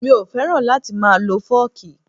Mi ò fẹ́ràn láti máa lọ fọ́ọ̀kì